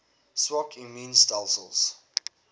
swak immuun stelsels